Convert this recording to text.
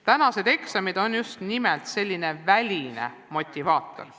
Tänased eksamid on just nimelt selline väline motivaator.